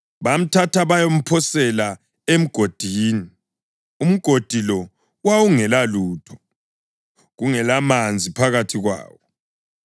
bamthatha bayamphosela emgodini. Umgodi lo wawungela lutho, kungelamanzi phakathi kwawo.